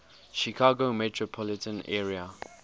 chicago metropolitan area